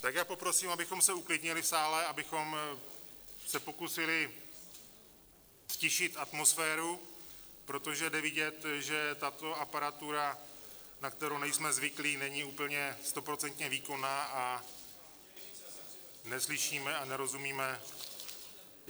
Tak já poprosím, abychom se uklidnili v sále, abychom se pokusili ztišit atmosféru, protože je vidět, že tato aparatura, na kterou nejsme zvyklí, není úplně stoprocentně výkonná, a neslyšíme a nerozumíme.